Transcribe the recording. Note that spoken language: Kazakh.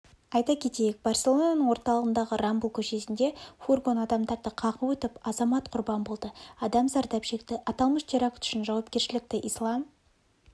айта кетейік барселонаның орталығындағы рамбл көшесінде фургон адамдарды қағып өтіп азамат құрбан болды адам зардап шекті аталмыш теракт үшін жауапкершілікті ислам